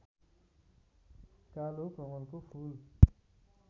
कालो कमलको फूल